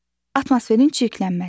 Atmosferin çirklənməsi.